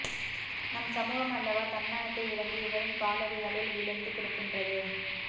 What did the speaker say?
நம் சமூகம் அல்லவா தன்மானத்தை இழந்து இவரின் காலடிகளில் வ்ழுந்து கிடக்கின்றது